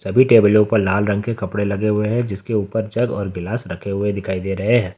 सभी टेबलो पे लाल रंग के कपड़े लगे हुए हैं जिसके ऊपर जग और गिलास रखे हुए दिखाई दे रहे हैं।